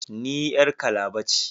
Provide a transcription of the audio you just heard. Ni yar Calabar ke